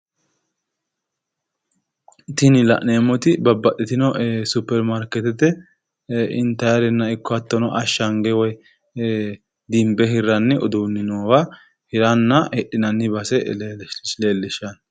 tini la'neemmoti babbaxxtino supperimaarkeetete intannire ikko hattono ashshange woy dimbe hirranni uduunni noowa hiranna hidhinanni base leellishanno.